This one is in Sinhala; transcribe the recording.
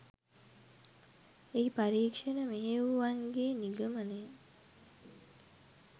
එහි පරීක්ෂණ මෙහෙයවූවන්ගේ නිගමනය